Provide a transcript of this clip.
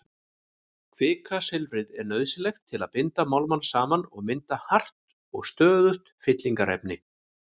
Kvikasilfrið er nauðsynlegt til að binda málmana saman og mynda hart og stöðugt fyllingarefni.